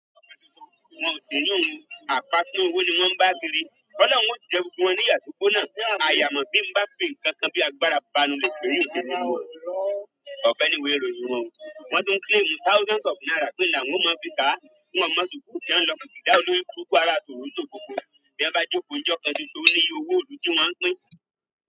Wọn ò sì ní òun, àpá tan ówó ni wọ́n ń bá a kiri. Ọ̀lọ̀run ó jẹ́ gbogbo wọn níyà tó gbóná, a yà mọ̀ bí ń bá pè nǹkan kan bí àgùnbára panu lè kiri èsì inú wọn. Ọ̀fẹ́ ni wò erò yí wọn, wọ́n tún claim thousands of naira pẹ́là wọ́n máa fi ká, kí wọ́n má mọ̀ sukùú kí wọ́n lọ gbà olórí kúrúkú ara tòrò tó gbògbòó, bí wọn bá jókòó ijọ́ kan ṣoṣo nílé owó òru tí wọ́n pín.